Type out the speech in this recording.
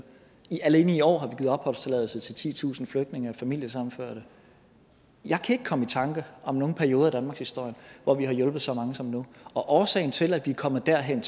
alene i år har opholdstilladelse til titusind flygtninge og familiesammenførte jeg kan ikke komme i tanke om nogen perioder i danmarkshistorien hvor vi har hjulpet så mange som nu og årsagen til at vi er kommet derhen